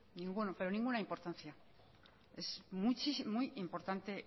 ninguna pero ninguna importancia es muy importante